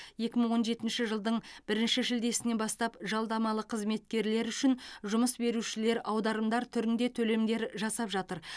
екі мың он жетінші жылдың бірінші шілдесінен бастап жалдамалы қызметкерлер үшін жұмыс берушілер аударымдар түрінде төлемдер жасап жатыр